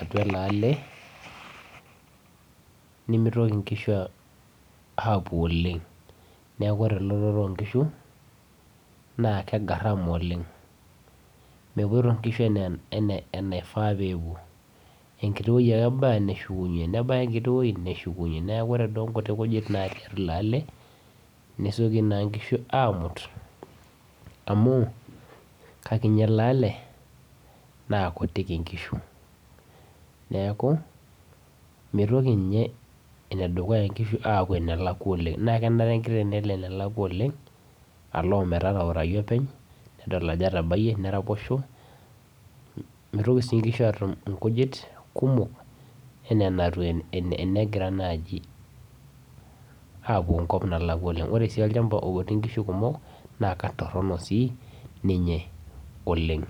atua eleale nimitoki nkishu apuo oleng neaku ore elototo onkishu kegaram oleng mepuoito nkishu ana enaifaa pepuo enkiti woi ake ebaya neshukunye nebaya enkiti wueji neshukunye neaku ore nkuti kujit natii elee ale nesieki nkishu amu kekiti eleale na kutik nkishu neaku mitoki nye enedukuya apuo enalkwa oleng na kenare enkteng nelo enelakwa oleng alo ometanaurau openy nedol ajo etaraposhe mitoki si nkishu atumbnkujit kumok ana nai tenegira apuo enkop nalakwa oleng ore si olchamba otii nkishu kumok na ketoronok si ninye oleng.